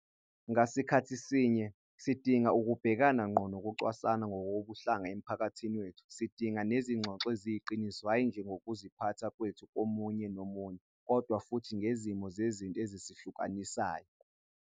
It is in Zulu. Ngasikhathi sinye, sidinga ukubhekana ngqo nokucwasana ngokobuhlanga emphakathini wethu. Sidinga nezingxoxo eziyiqiniso hhayi nje ngokuziphatha kwethu komunye nomunye, kodwa futhi ngezimo zezinto ezisihlukanisayo.